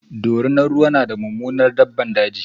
dorinar ruwa na da Mummunar daɓɓan daji.